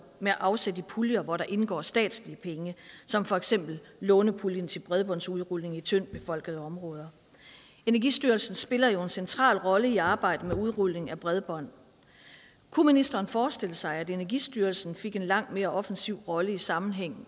med afsæt i puljer hvor der indgår statslige penge som for eksempel lånepuljen til bredbåndsudrulning i tyndt befolkede områder energistyrelsen spiller jo en central rolle i arbejdet med udrulning af bredbånd kunne ministeren forestille sig at energistyrelsen fik en langt mere offensiv rolle i sammenhæng